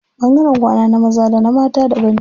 Ɓangaren kwana na maza da na mata daban ne.